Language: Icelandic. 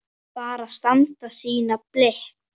Bara standa sína plikt.